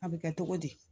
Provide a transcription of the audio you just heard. A bɛ kɛ togo di